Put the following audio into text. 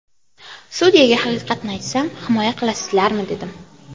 Sudyaga haqiqatni aytsam himoya qilasizlarmi dedim.